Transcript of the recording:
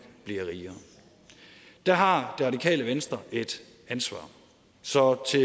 bliver rigere der har det radikale venstre et ansvar så til